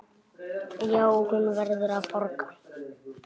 Já, hún verður að borga.